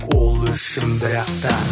ол үшін бірақта